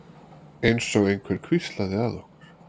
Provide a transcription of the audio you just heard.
Einsog einhver hvíslaði að okkur.